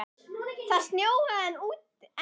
Það snjóaði enn úti.